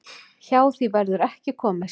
Hjá því verður ekki komist.